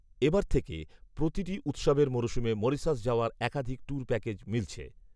এবার থেকে প্রতিটি উৎসবের মরশুমে মরিশাস যাওয়ার একাধিক ট্যুর প্যাকেজ মিলছে